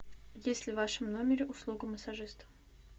есть ли в вашем номере услуга массажиста